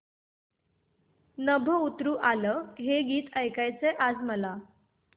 नभं उतरू आलं हे गीत ऐकायचंय आज मला